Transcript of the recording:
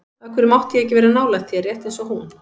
Af hverju mátti ég ekki vera nálægt þér, rétt eins og hún?